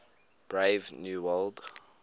brave new world